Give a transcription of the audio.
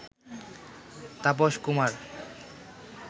Tapas Kumar